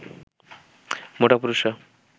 মোটা পুরুষরা